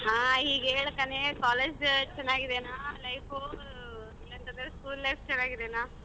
ಆ ಹೀಗ್ ಹೇಳ್ಕಣೆ college ಚನಾಗಿದೇನಾ life ವು ಇಲ್ಲಾಂದ್ರೆ ಬೇರೆ school life ಚನಾಗಿದೇನಾ?